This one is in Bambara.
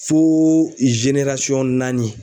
Fo naani.